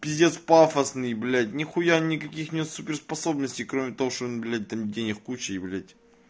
пиздец пафосный блять нехуя никаких нет суперспособностей кроме того что он блять там денег куча и блять